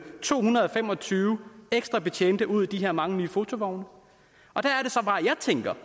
to hundrede og fem og tyve ekstra betjente ud i de her mange nye fotovogne jeg tænker